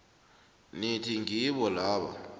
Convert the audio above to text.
nithi ngibo laba